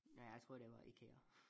Nej jeg tror det var IKEA